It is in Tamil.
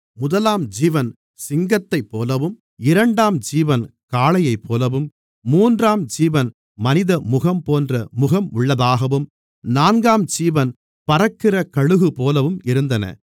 முதலாம் ஜீவன் சிங்கத்தைப்போலவும் இரண்டாம் ஜீவன் காளையைப்போலவும் மூன்றாம் ஜீவன் மனிதமுகம் போன்ற முகம் உள்ளதாகவும் நான்காம் ஜீவன் பறக்கிற கழுகுபோலவும் இருந்தன